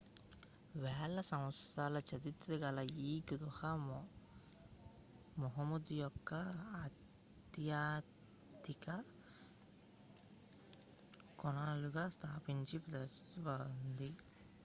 వేల సంవత్సరాల చరిత్ర గల ఈ గుహ ముహమ్మద్ యొక్క ఆధ్యాత్మిక కోణాలను స్పష్టంగా ప్రతిబింబిస్తుంది